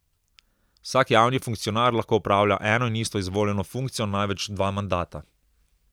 Vsak javni funkcionar lahko opravlja eno in isto izvoljeno funkcijo največ dva mandata.